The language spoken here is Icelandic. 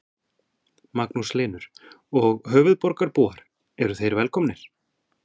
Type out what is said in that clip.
Magnús Hlynur: Og höfuðborgarbúar eru þeir velkomnir?